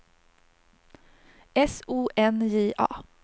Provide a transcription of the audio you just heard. S O N J A